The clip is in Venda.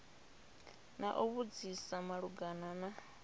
na u vhudzisa malugana na